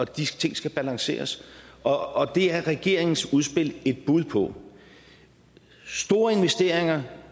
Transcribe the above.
de ting skal balanceres og det er regeringens udspil et bud på store investeringer